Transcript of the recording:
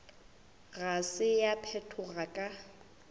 ga se ya phethoga ka